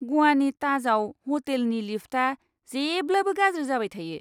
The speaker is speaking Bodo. ग'वानि ताजआव ह'टेलनि लिफ्टआ जेब्लाबो गाज्रि जाबाय थायो!